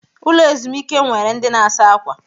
Ụlọ ezumike nwere ndị na-asa ákwà.